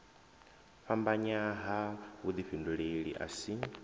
fhambanya ha vhudifhinduleli a si